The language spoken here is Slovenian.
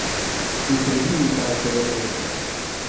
V sredini pajkove mreže.